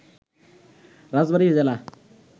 রাজবাড়ি জেলা